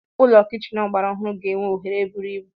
Ụlọ kichin ọgbara ọhụrụ ga-enwe oghere buru ibu.